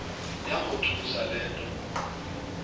yamothusa le nto